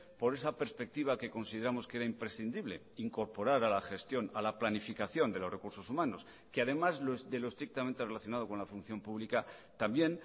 por esa perspectiva que consideramos que era imprescindible incorporar a la gestión a la planificación de los recursos humanos que además de lo estrictamente relacionado con la función pública también